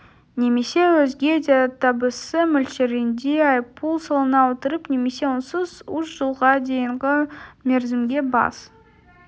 немесе өзге де табысы мөлшерінде айыппұл салына отырып немесе онсыз үш жылға дейінгі мерзімге бас